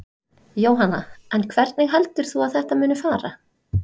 Jóhanna: En hvernig heldur þú að þetta muni fara?